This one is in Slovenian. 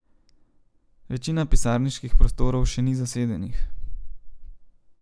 Večina pisarniških prostorov še ni zasedenih.